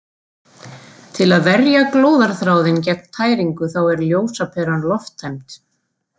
Til að verja glóðarþráðinn gegn tæringu þá er ljósaperan lofttæmd.